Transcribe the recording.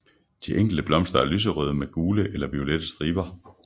De enkelte blomster er lyserøde med gule eller violette striber